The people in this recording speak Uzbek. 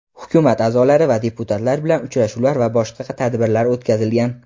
hukumat a’zolari va deputatlar bilan uchrashuvlar va boshqa tadbirlar o‘tkazilgan.